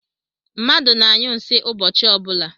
Mmadụ na-anyụ nsi ụbọchị ọbụla